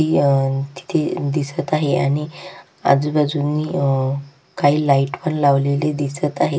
तिथे दिसत आहे आणि आजूबाजूनी अ काही लाइट पण लावलेले दिसत आहेत.